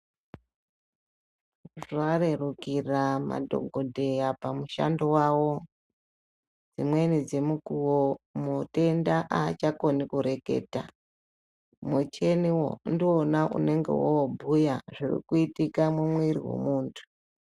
Varerukira madhokodheya pamushando wavo, dzimweni dzemukuwo mutenda haachagoni kureketa, muchini ndiwona unenge obhuya zvirikuitika mumiri wemuntu.